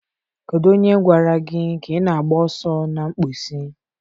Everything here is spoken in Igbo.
Kedu onye gwara gị ka ị na-agba ọsọ na mposi?